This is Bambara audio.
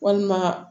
Walima